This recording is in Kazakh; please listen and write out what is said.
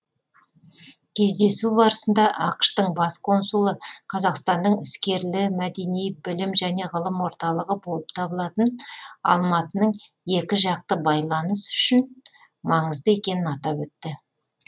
кездесу барысында ақш тың бас консулы қазақстанның іскерлі мәдени білім және ғылым орталығы болып табылатын алматының екі жақты байланыс үшін маңызды екенін атап өтті